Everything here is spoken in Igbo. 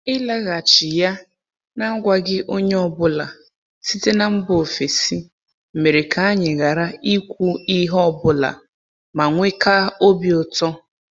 Ịlaghachi ya n’agwaghị onye ọ bụla site mba ofesi mere ka anyị ghara ikwu ihe ọ bụla manwekaa obi ụtọ.